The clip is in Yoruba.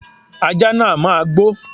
Ajá náà máa gbó.